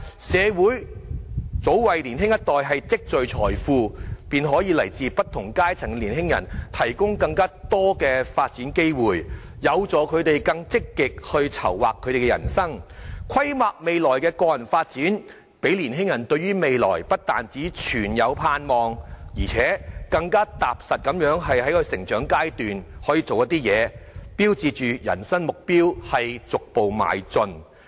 社會及早為年青一代積聚財富，使來自不同階層的年青人有更多發展機會，有助他們更積極籌劃人生，規劃未來的個人發展，使年青人對於未來不但存有盼望，且能更踏實地在成長階段中朝着人生目標逐步邁進。